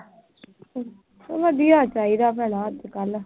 ਵਧੀਆ ਚਾਹੀਦਾ ਭੈਣਾ ਅੱਜ ਕੱਲ੍ਹ।